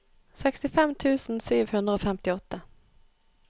sekstifem tusen sju hundre og femtiåtte